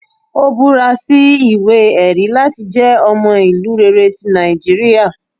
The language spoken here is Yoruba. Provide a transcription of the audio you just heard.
Ò búra sí iwe-ẹri lati jẹ ọmọ ilu rere ti Nijiriria